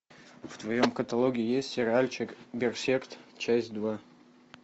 в твоем каталоге есть сериальчик берсерк часть два